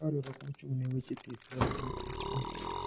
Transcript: Ka riwruok mochung` ne weche thieth (WHO),